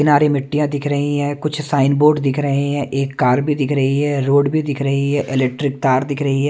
किनारे मिट्टिया दिख रही है कुछ साइन बोर्ड दिख रहे है एक कार भी दिखा रही है रोड भी दिख रही है इलेक्ट्रिक तार दिख रही है।